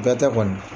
Bɛɛ tɛ kɔni